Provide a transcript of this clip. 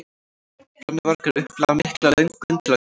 Brennuvargar upplifa mikla löngun til að kveikja í.